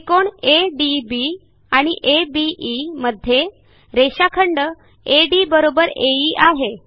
त्रिकोण एडीबी आणि अबे मध्ये रेषाखंड अड एई आहे